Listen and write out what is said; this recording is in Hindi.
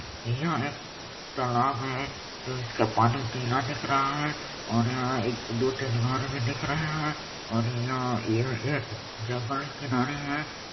यह एक तालाब है जिसका पानी नीला दिख रहा है और यहाँ दो-तीन घर भी दिख रहें है और यह एक जंगल के किनारे है।